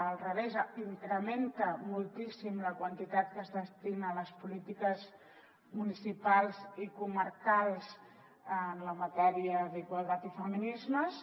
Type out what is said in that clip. al revés incrementa moltíssim la quantitat que es destina a les polítiques municipals i comarcals en la matèria d’igualtat i feminismes